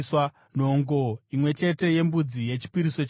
nhongo imwe chete yembudzi yechipiriso chechivi;